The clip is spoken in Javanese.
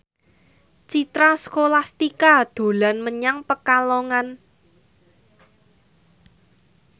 Citra Scholastika dolan menyang Pekalongan